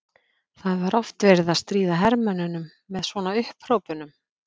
Það var oft verið að stríða hermönnunum með svona upphrópunum.